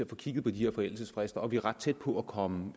kigget på de her forældelsesfrister og vi er ret tæt på at komme